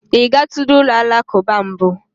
Ị gatula ụlọ alakụba mbụ?